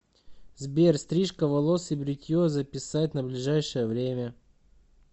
сбер стрижка волос и бритье записать на ближайшее время